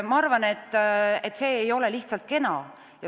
Ma arvan, et see ei ole lihtsalt kena.